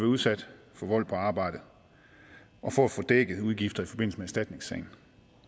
udsat for vold på arbejdet og for at få dækket udgifter i forbindelse med erstatningssagen